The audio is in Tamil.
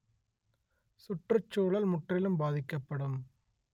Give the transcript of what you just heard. சுற்றுச்சூழல் முற்றிலும் பாதிக்கப்படும்